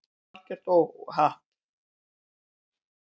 Þetta var algjört óhapp.